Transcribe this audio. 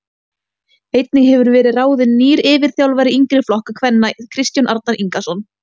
Einnig hefur verið ráðin nýr yfirþjálfari yngri flokka kvenna Kristján Arnar Ingason.